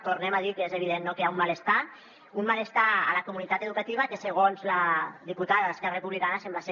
tornem a dir que és evident que hi ha un malestar un malestar a la comunitat educativa que segons la diputada d’esquerra republicana sembla ser